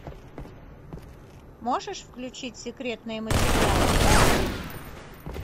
можешь включить секретные материалы